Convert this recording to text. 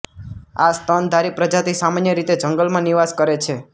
આ સ્તનધારી પ્રજાતિ સામાન્ય રીતે જંગલમાં નિવાસ કરે છે